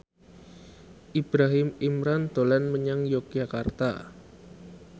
Ibrahim Imran dolan menyang Yogyakarta